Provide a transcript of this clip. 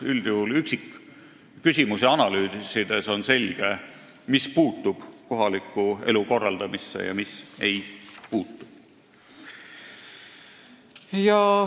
Üldjuhul on üksikküsimusi analüüsides selge, mis puutub kohaliku elu korraldamisse ja mis ei puutu.